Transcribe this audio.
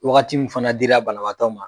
Wagati min fana dira banabaatɔ ma